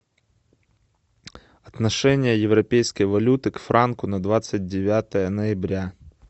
отношение европейской валюты к франку на двадцать девятое ноября